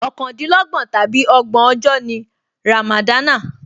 Ọ̀kàndínlọ́gbọ̀n tàbí ọgbọ̀n ọjọ́ ni ràmàdánà